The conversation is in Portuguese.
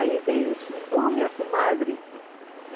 Aí veio, eu disse, ô minha comadre!